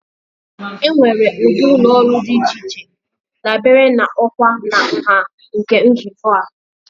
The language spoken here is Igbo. Enwere ụdị ụlọ ọrụ dị iche iche dabere na ọkwa na nha nke nzukọ a.